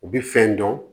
U bi fɛn dɔn